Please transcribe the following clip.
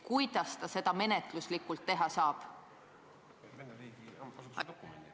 Kuidas nad menetluslikult seda teha saavad?